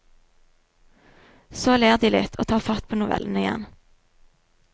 Så ler de litt og tar fatt på novellene igjen.